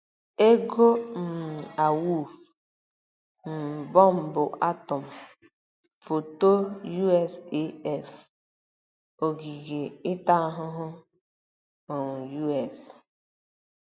EGO um AWUFU; um bọmbụ atọm: foto USAF; ogige ịta ahụhụ: um U. S.